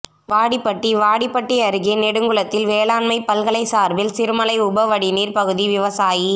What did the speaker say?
வாடிப்பட்டி வாடிப்பட்டி அருகே நெடுங்குளத்தில் வேளாண்மை பல்கலை சார்பில் சிறுமலை உப வடிநீர் பகுதி விவசாயி